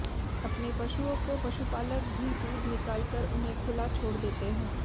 अपने पशुओं को पशुपालक भी दूध निकालकर उन्हें खुला छोड़ देते है